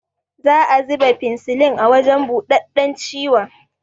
Za a ziba finsilin a wajan buɗaɗɗan ciwon